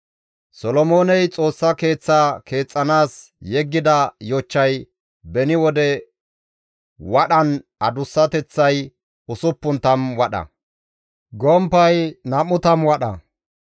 Solomooney Xoossa keeththaa keexxanaas yeggida yochchay beni wode wadhan adussateththay 60 wadha; gomppay 20 wadha.